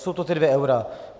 Jsou to ta dvě eura.